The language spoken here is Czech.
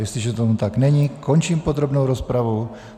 Jestliže tomu tak není, končím podrobnou rozpravu.